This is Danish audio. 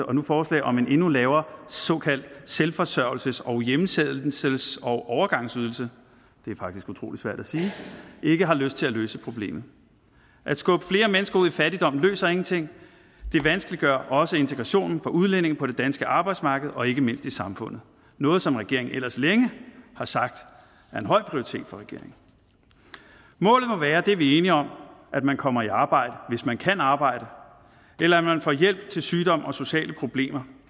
og nu forslag om en endnu lavere såkaldt selvforsørgelses og hjemsendelses og overgangsydelse det er faktisk utrolig svært at sige ikke har lyst til at løse problemet at skubbe flere mennesker ud i fattigdom løser ingenting det vanskeliggør også integrationen for udlændinge på det danske arbejdsmarked og ikke mindst i samfundet noget som regeringen ellers længe har sagt er en høj prioritet for regeringen målet må være det er vi enige om at man kommer i arbejde hvis man kan arbejde eller at man får hjælp til sygdom og sociale problemer